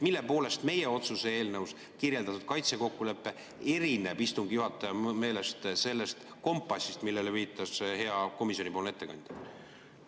Mille poolest meie otsuse eelnõus kirjeldatud kaitsekokkulepe erineb istungi juhataja meelest sellest kompassist, millele viitas hea komisjoni ettekandja?